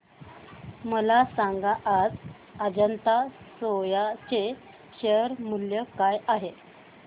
मला सांगा आज अजंता सोया चे शेअर मूल्य काय आहे